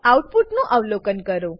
આઉટપુટનું અવલોકન કરો